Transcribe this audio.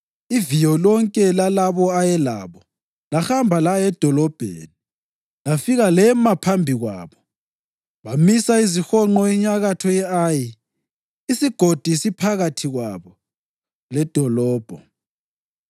Iviyo lonke lalabo ayelabo lahamba laya edolobheni lafika lema phambi kwabo. Bamisa izihonqo enyakatho ye-Ayi, isigodi siphakathi kwabo ledolobho.